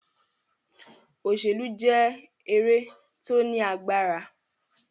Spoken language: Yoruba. òṣèlú jẹ́ eré tí ó ní agbára.